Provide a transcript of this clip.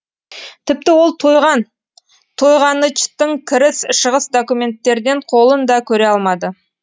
тіпті ол тойған тойғанычтың кіріс шығыс документтерден қолын да көре алмады